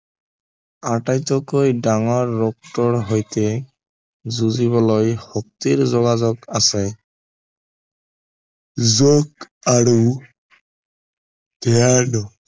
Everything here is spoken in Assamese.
আতাইতকৈ ডাঙৰ ৰক্তৰ সৈতে যুঁজিবলৈ শক্তিৰ যোগাযোগ আছে যোগ আৰু